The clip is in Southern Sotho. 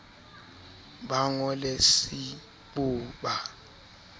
ba ngo le cbo ba